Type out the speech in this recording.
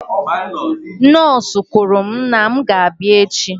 Nọọsụ kwuru na m ga-abịa echi.